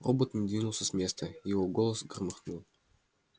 робот не двинулся с места и его голос громыхнул